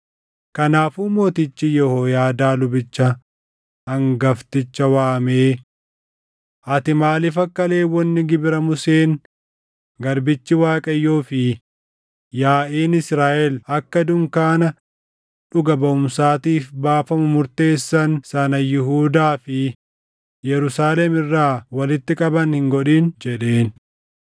Kanaafuu mootichi Yehooyaadaa lubicha hangafticha waamee, “Ati maaliif akka Lewwonni gibira Museen garbichi Waaqayyoo fi yaaʼiin Israaʼel akka dunkaana dhuga baʼumsaatiif baafamu murteessan sana Yihuudaa fi Yerusaalem irraa walitti qaban hin godhin?” jedheen.